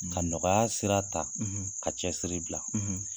Ka nɔgɔya sira ta ka cɛsiri bila.